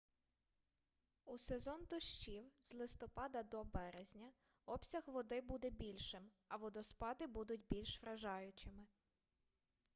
у сезон дощів з листопада до березня обсяг води буде більшим а водоспади будуть більш вражаючими